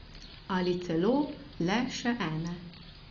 Ali celo le še ene.